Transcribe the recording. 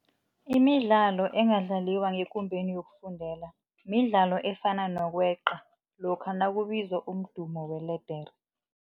Imidlalo engadlaliwa ngekumbeni yokufundela midlalo efana nokweqa lokha nakubizwa umdumo weledere.